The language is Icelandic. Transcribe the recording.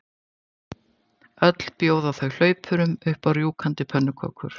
Öll bjóða þau hlaupurum upp á rjúkandi pönnukökur.